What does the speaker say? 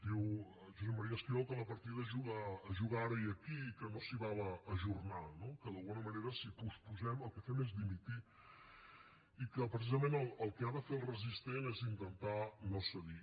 diu josep maria esquirol que la partida es juga ara i aquí i que no s’hi val a ajornar no que d’alguna manera si posposem el que fem és dimitir i que precisament el que ha de fer el resistent és intentar no cedir